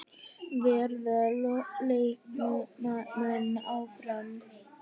Verða leikmenn áfram?